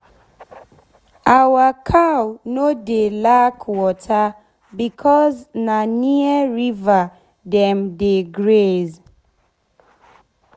our cow nor dey lack water becos na near river dem dey graze.